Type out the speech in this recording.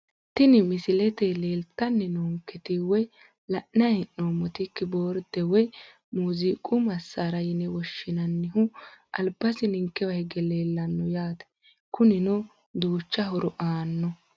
Tini misilete leeltani noonketi woyi la`nayi hee`nomoti kiboorde woyi muuziqqu masaara yine woshinayihu albasi ninkewa hige leelano yaate kunino duucha horo aano.